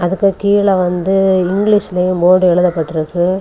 அதுக்கு கீழ வந்து இங்கிலீஷ்லையு போடு எழுதப்பட்ருக்கு.